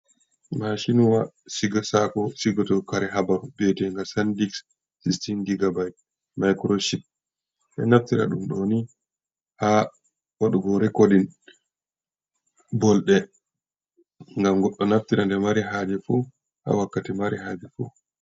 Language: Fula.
Mashinuwa shiga sako shigatu kare habaru bede ga sandix 16 digabite microship de naftira ɗum doni ha wadugo rekordin bolde ngam goɗɗo naftira nde mari haje fu ha wakkati mari haje fu.